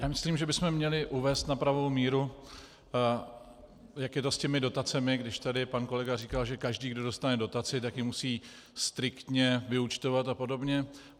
Já myslím, že bychom měli uvést na pravou míru, jak je to s těmi dotacemi, když tady pan kolega říkal, že každý, kdo dostane dotaci, tak ji musí striktně vyúčtovat a podobně.